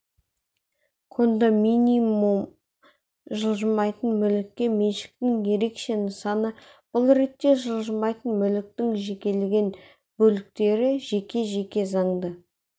кондоминиум жылжымайтын мүлікке меншіктің ерекше нысаны бұл ретте жылжымайтын мүліктің жекелеген бөліктері жеке және заңды